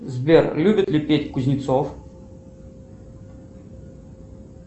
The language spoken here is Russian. сбер любит ли петь кузнецов